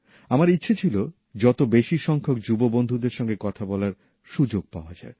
আমার ইচ্ছে ছিল যত বেশি সংখ্যক যুব বন্ধুদের সঙ্গে কথা বলার সুযোগ পাওয়া যায়